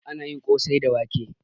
Anayi kosai da wake